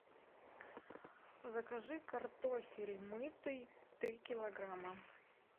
закажи картофель мытый три килограмма